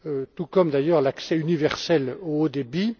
tout comme, d'ailleurs, l'accès universel au haut